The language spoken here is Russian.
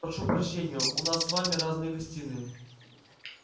прошу прощения у нас с вами разные гостиные